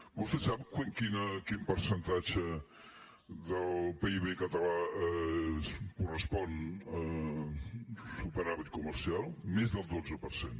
vostè sap quin percentatge del pib català correspon al superàvit comercial més del dotze per cent